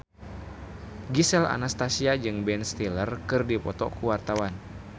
Gisel Anastasia jeung Ben Stiller keur dipoto ku wartawan